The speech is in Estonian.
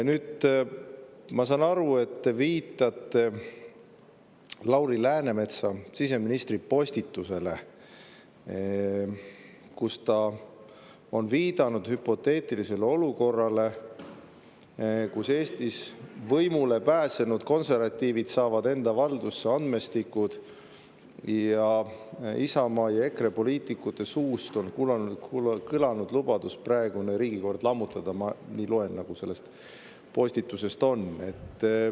Ma saan aru, et te viitate siseminister Lauri Läänemetsa postitusele, kus ta on viidanud hüpoteetilisele olukorrale, kus Eestis võimule pääsenud konservatiivid saavad enda valdusse andmestikud ja Isamaa ja EKRE poliitikute suust on kõlanud lubadus praegune riigikord lammutada – ma loen, nagu selles postituses on.